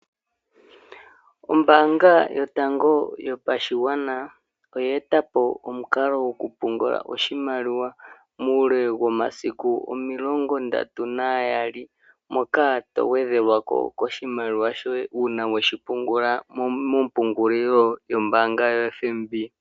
Ombaanga yotango yopashigwana oya eta po omukalo gokupungula oshimaliwa muule womasiku omilongo ndatu nambali, moka to gwedhelwa ko koshimalliwa shoye uuna weshi pungula mompungulilo yombaanga yaFNB.